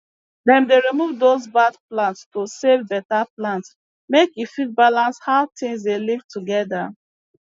dem dey remove dose bad plants to save beta plant make e fit balance how tings dey live together